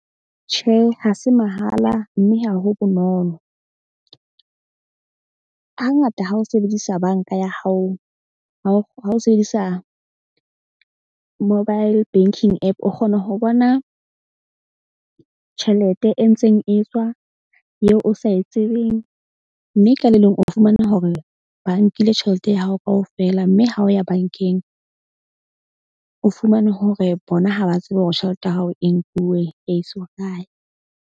Tjhe, ha se mahala mme ha ho bonolo. Hangata ha o sebedisa bank-a ya hao ha o sebedisa mobile banking app. O kgona ho bona tjhelete e ntseng e tswa eo o sa e tsebeng. Mme ka le leng o fumana hore ba nkile tjhelete ya hao kaofela, mme ha o ya bank-eng, o fumane hore bona ha ba tsebe hore tjhelete ya hao e nkuwe ya iswa kae.